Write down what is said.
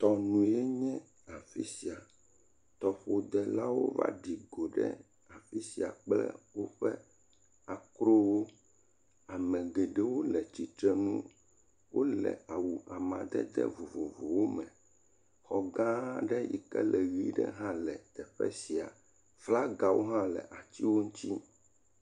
Tɔnu enye afi sia, tɔƒodelawo va ɖi go ɖe afi sia kple woƒe akrowo. Ame geɖewo le atsitrenu, wole awu amadede vovovowo me, xɔ gã aɖe yike le ʋɛ̃ ɖe hã le afi sia, flagawo hã le atiwo ŋuti.